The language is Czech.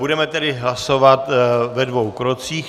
Budeme tedy hlasovat ve dvou krocích.